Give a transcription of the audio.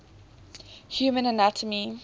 human anatomy